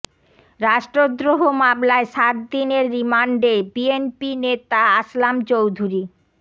রাষ্ট্রদ্রোহ মামলায় সাত দিনের রিমান্ডে বিএনপি নেতা আসলাম চৌধুরী